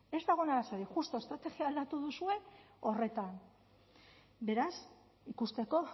ez dago arazorik justu estrategia aldatu duzue horretan beraz ikusteko